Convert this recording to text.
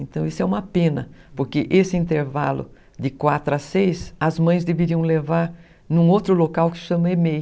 Então isso é uma pena, porque esse intervalo de quatro a seis, as mães deveriam levar em um outro local que se chama ê mei